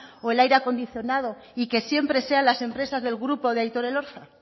o el aire acondicionado y que siempre sean las empresas del grupo de aitor elorza